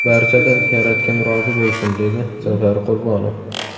Barchadan yaratgan rozi bo‘lsin”, dedi Zafar Qurbonov.